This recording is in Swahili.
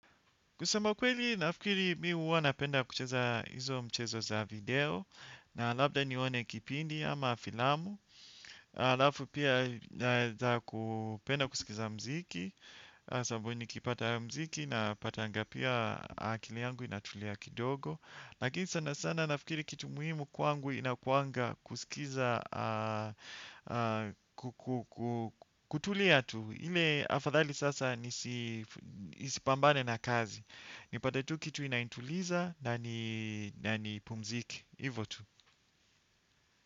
Kusema ukweli, nafikiri mi hu napenda kucheza hizo mchezo za video, na labda nione kipindi ama filamu. Alafu pia za kupenda kusikiza mziki, sababu nikipata mziki napatanga pia akili yangu inatulia kidogo. Lakini sana sana nafikiri kitu muhimu kwangu inakuanga kusikiza, kutulia tu. Ile afadhali sasa nisipambane na kazi. Nipate tu kitu inanituliza nanipumzike. Hivo tu.